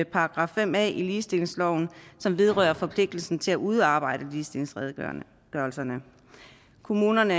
§ fem a i ligestillingsloven som vedrører forpligtelsen til at udarbejde ligestillingsredegørelser kommunerne